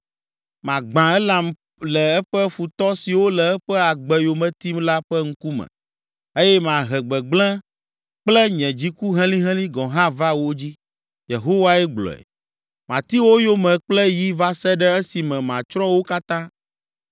Magbã Elam le eƒe futɔ siwo le eƒe agbe yome tim la ƒe ŋkume, eye mahe gbegblẽ kple nye dziku helĩhelĩ gɔ̃ hã va wo dzi,” Yehowae gblɔe. “Mati wo yome kple yi va se ɖe esime matsrɔ̃ wo katã.